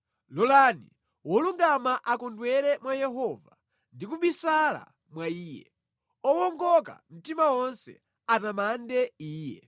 Lolani wolungama akondwere mwa Yehova ndi kubisala mwa Iye, owongoka mtima onse atamande Iye!